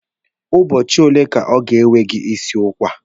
Ụbọchị ole ka ọ ga-ewe gị isi ụkwa ahụ?